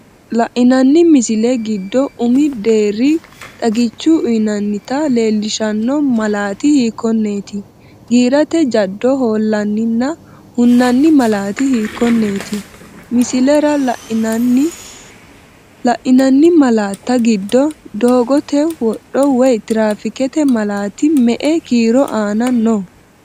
La’inanni misilla giddo umi deerri xagicho uyinannita leellishanno malaati hiikkonneeti? Giirate jaddo hoollanninna hunnanni malaate hiittenne misilera la’in- anni? La’inanni malaatta giddo doogote wodho woy tiraafiiqete malaati me”e kiiro aana no?